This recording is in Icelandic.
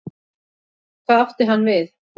Hvað átti hann við?